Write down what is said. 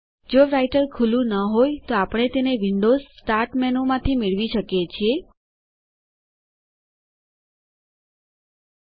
જો રાઈટર ખૂલું ન હોય તોઆપણે તેને વિન્ડોઝ સ્ટાર્ટ menuવિન્ડોવ્ઝ સ્ટાર્ટ મેનુમાંથી મેળવી શકીએ છીએ